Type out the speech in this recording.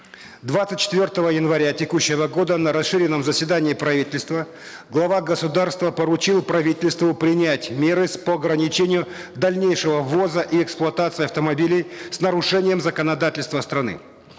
двадцать четвертого января текущего года на расширенном заседании правительства глава государства поручил правительству принять меры по ограничению дальнейшего ввоза и эксплуатации автомобилей с нарушением законодательства страны